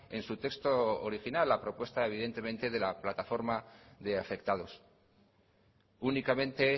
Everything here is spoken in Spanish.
en su texto original la propuesta evidentemente de la plataforma de afectados únicamente